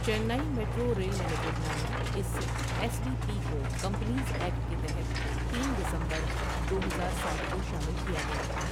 چنائی metro rail limited' نامی اس S V P کو کمپنیز ایکٹ کے تحت تین دسمبر دو ہزار ساتھ کو شامل کیا گیا تھا۔